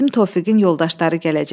Dedim Tofiqin yoldaşları gələcək.